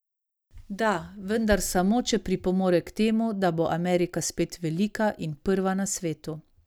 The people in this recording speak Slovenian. Da, vendar samo, če pripomore k temu, da bo Amerika spet velika in prva na svetu.